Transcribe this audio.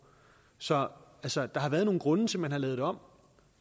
så så der har været nogle grunde til at man har lavet det om